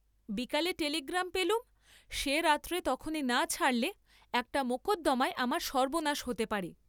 বিকালে টেলিগ্রাম পেলুম, সে রাত্রে তখনি না ছাড়লে একটা মকদ্দমায় আমার সর্ব্বনাশ হতে পারে।